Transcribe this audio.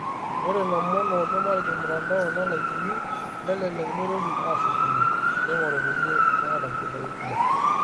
Ore lomon ojoo matijing'mtandao nelaikini, nelelek meitoki ashukunye, neing'orru kulie nemeeta nchidai kumok